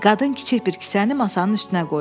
Qadın kiçik bir kisəni masanın üstünə qoydu.